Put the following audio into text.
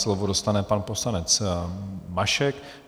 Slovo dostane pan poslanec Mašek.